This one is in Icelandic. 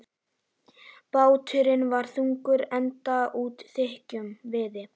Báturinn var þungur, enda úr þykkum viði.